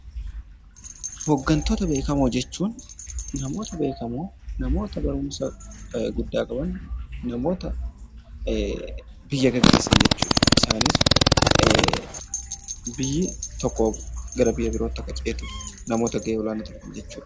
Hoggantoota beekamoo jechuun namoota beekamoo, namoota baruumsaa guddaa qaban, namoota biyyaa geggeessaan jechuudha. Isaanis biyyi tokko gara biyyaa birootti akka ceetuuf namoota gahee olaanaa taphatan jechuudha.